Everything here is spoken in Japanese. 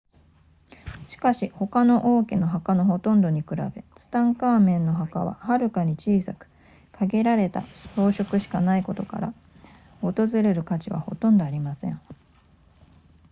しかし他の王家の墓のほとんどに比べツタンカーメンの墓ははるかに小さく限られた装飾しかないことから訪れる価値はほとんどありません